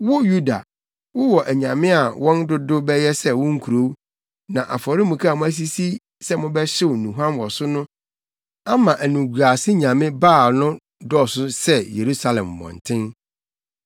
Wo Yuda, wowɔ anyame a wɔn dodow bɛyɛ sɛ wo nkurow; na afɔremuka a moasisi sɛ mobɛhyew nnuhuam wɔ so ama animguase nyame Baal no dɔɔso sɛ Yerusalem mmɔnten.’